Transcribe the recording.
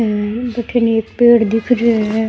भठे एक पेड़ दिख रेहो है।